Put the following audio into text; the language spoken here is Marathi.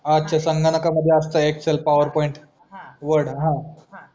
असते संगणका मध्ये असते एक्सेल पॉवरपॉईंट हा वर्ड हा